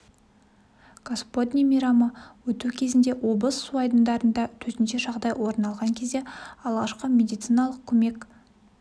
господне мейрамы өту кезінде облыс су айдындарында төтенше жағдай орын алған кезде алғашқы медициналық көмек